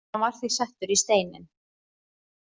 Hann var því settur í steininn